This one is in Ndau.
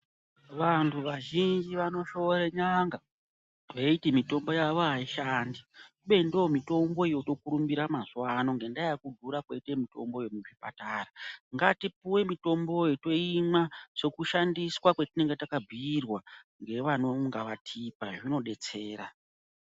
Vantu vazhinji vanoshora n'anga veiti mitombo yawo aishandi kubeni ndomitombo yotokurumbira mazuva ano nenyaya yekudhura koite mitombo yemuzvipatara ngatipuwe mitombo iyo toimwa sekushandisa kwatinenge takabhuirwa nevanonga vakatipa kuti unodetsera.